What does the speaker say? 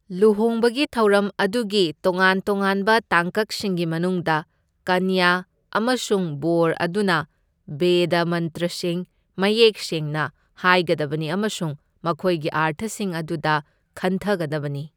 ꯂꯨꯍꯣꯡꯕꯒꯤ ꯊꯧꯔꯝ ꯑꯗꯨꯒꯤ ꯇꯣꯉꯥꯟ ꯇꯣꯉꯥꯟꯕ ꯇꯥꯡꯀꯛꯁꯤꯡꯒꯤ ꯃꯅꯨꯡꯗ ꯀꯅ꯭ꯌ ꯑꯃꯁꯨꯡ ꯕꯣꯔ ꯑꯗꯨꯅ ꯕꯦꯗ ꯃꯟꯇ꯭ꯔꯁꯤꯡ ꯃꯌꯦꯛ ꯁꯦꯡꯅ ꯍꯥꯏꯒꯗꯕꯅꯤ ꯑꯃꯁꯨꯡ ꯃꯈꯣꯏꯒꯤ ꯑꯔꯊꯁꯤꯡ ꯑꯗꯨꯗ ꯈꯟꯊꯒꯗꯕꯅꯤ꯫